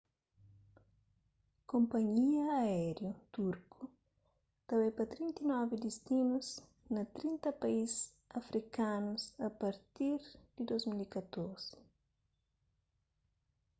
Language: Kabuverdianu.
konpanhia aériu turku ta bai pa 39 distinus na 30 país afrikanus a partir di 2014